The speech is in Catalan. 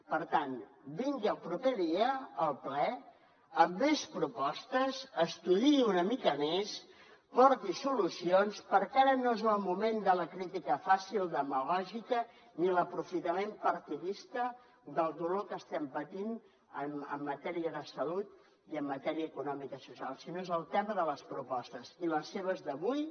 per tant vingui el proper dia al ple amb més propostes estudiï una mica més porti solucions perquè ara no és el moment de la crítica fàcil demagògica ni de l’aprofitament partidista del dolor que estem patint en matèria de salut i en matèria econòmica i social sinó que és el tema de les propostes i les seves d’avui